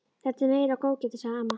Þetta er meira góðgætið, sagði amma.